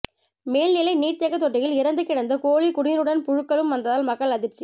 மேல்நிலை நீர்த்தேக்க தொட்டியில் இறந்து கிடந்த கோழி குடிநீருடன் புழுக்களும் வந்ததால் மக்கள் அதிர்ச்சி